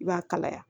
I b'a kalaya